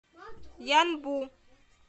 янбу